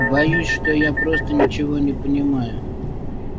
боюсь что я просто ничего не понимаю